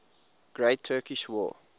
great turkish war